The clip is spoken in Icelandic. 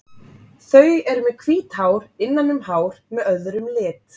Þau eru með hvít hár innan um hár með öðrum lit.